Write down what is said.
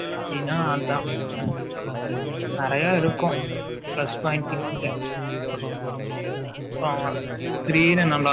எடுக்க வேண்டியது தான். சினா அதான். நிறைய இருக்கும். Plus point இங்க. அப்புறம்